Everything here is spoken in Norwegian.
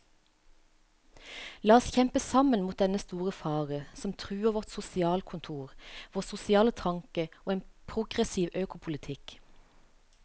La oss kjempe sammen mot dennne store fare som truer vårt sosialkontor, vår sosiale tanke og en progressiv økopolitikk.